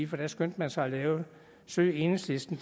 her skyndte man sig at lave en søg enhedslisten